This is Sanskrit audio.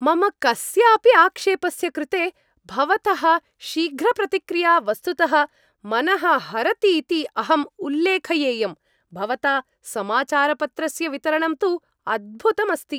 मम कस्यापि आक्षेपस्य कृते भवतः शीघ्रप्रतिक्रिया वस्तुतः मनः हरतीति अहं उल्लेखयेयम्। भवता समाचारपत्रस्य वितरणं तु अद्भुतम् अस्ति।